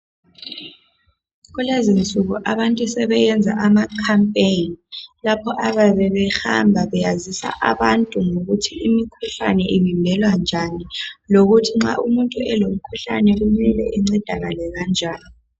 Kulezinsuku abantu sebesenza amakhampeni lapho abayabe behamba besazisa abantu ukuthi imikhuhlane ivimbelwa kanjani lokuthi nxa umuntu elomkhuhlane uncedakala kanjani